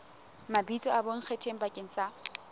mabitso a bonkgetheng bakeng sa